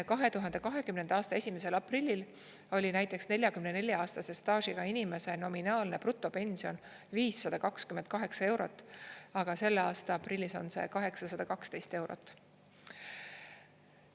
2020. aasta 1. aprillis oli näiteks 44-aastase staažiga inimese nominaalne brutopension 528 eurot, aga selle aasta aprillis on see 812 eurot.